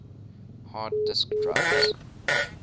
hard disk drives